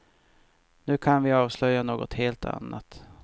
Nu kan vi avslöja något helt annat.